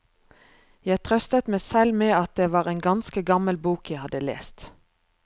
Jeg trøstet meg selv med at det var en ganske gammel bok jeg hadde lest.